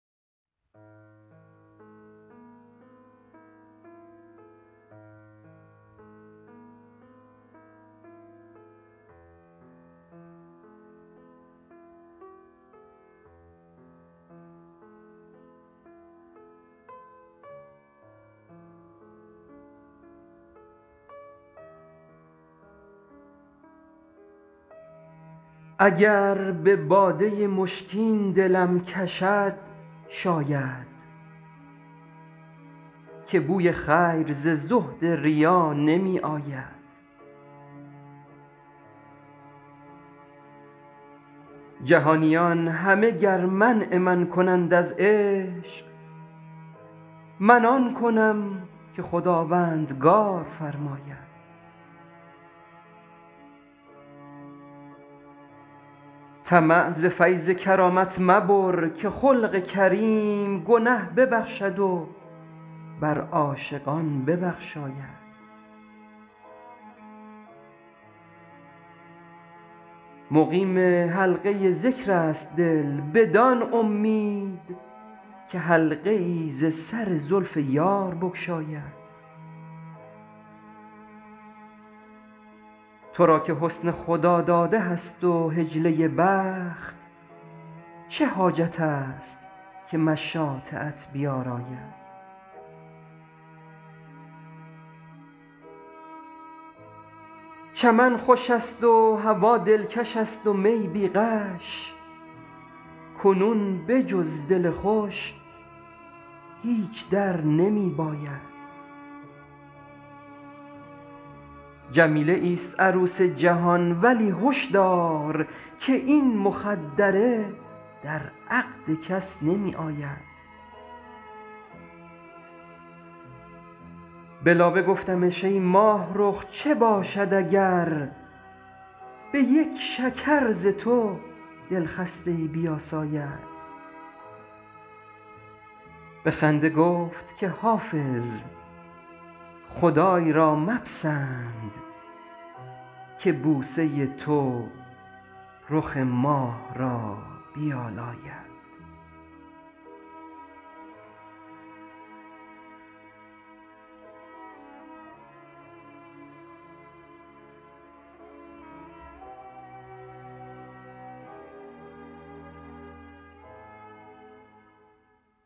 اگر به باده مشکین دلم کشد شاید که بوی خیر ز زهد ریا نمی آید جهانیان همه گر منع من کنند از عشق من آن کنم که خداوندگار فرماید طمع ز فیض کرامت مبر که خلق کریم گنه ببخشد و بر عاشقان ببخشاید مقیم حلقه ذکر است دل بدان امید که حلقه ای ز سر زلف یار بگشاید تو را که حسن خداداده هست و حجله بخت چه حاجت است که مشاطه ات بیاراید چمن خوش است و هوا دلکش است و می بی غش کنون به جز دل خوش هیچ در نمی باید جمیله ایست عروس جهان ولی هش دار که این مخدره در عقد کس نمی آید به لابه گفتمش ای ماهرخ چه باشد اگر به یک شکر ز تو دلخسته ای بیاساید به خنده گفت که حافظ خدای را مپسند که بوسه تو رخ ماه را بیالاید